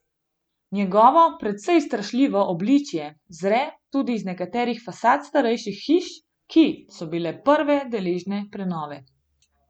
Njegovo precej strašljivo obličje zre tudi iz nekaterih fasad starejših hiš, ki so bile prve deležne prenove.